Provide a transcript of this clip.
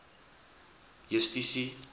justisie